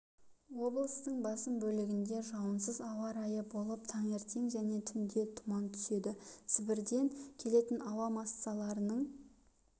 облыстың басым бөлігінде жауынсыз ауа райы болып таңертең және түнде тұман түседі сібірден келетін ауа массаларының